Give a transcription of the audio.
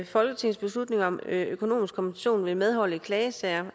folketingsbeslutning om økonomisk kompensation ved medhold i klagesager